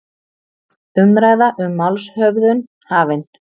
Umræða um málshöfðun hafin